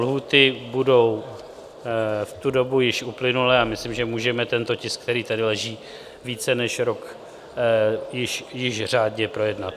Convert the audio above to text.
Lhůty budou v tu dobu již uplynulé a myslím, že můžeme tento tisk, který tady leží více než rok, již řádně projednat.